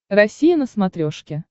россия на смотрешке